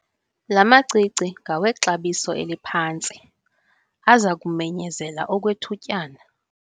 La macici ngawexabiso eliphantsi aza kumenyezela okwethutyana.